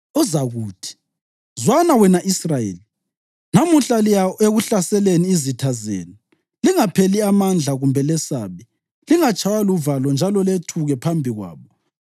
Uzakuthi: ‘Zwana, wena Israyeli, namuhla liya ekuhlaseleni izitha zenu. Lingapheli amandla kumbe lesabe; lingatshaywa luvalo njalo lethuke phambi kwabo.